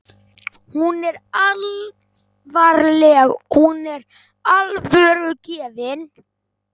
Hún er alvarleg- hún er alvörugefin.